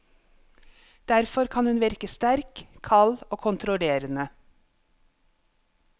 Derfor kan hun virke sterk, kald og kontrollerende.